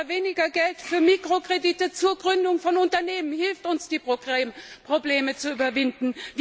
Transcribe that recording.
Oder weniger Geld für Mikrokredite zur Gründung von Unternehmen hilft uns, die Probleme zu überwinden?